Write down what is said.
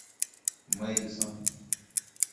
мэддисон